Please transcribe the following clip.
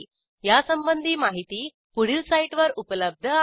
यासंबंधी माहिती पुढील साईटवर उपलब्ध आहे